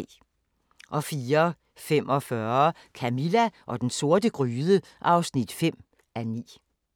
04:45: Camilla og den sorte gryde (5:9)